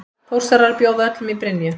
Þórsarar bjóða öllum í Brynju!